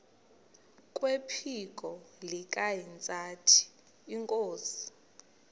kwephiko likahintsathi inkosi